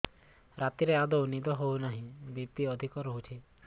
ରାତିରେ ଆଦୌ ନିଦ ହେଉ ନାହିଁ ବି.ପି ଅଧିକ ରହୁଛି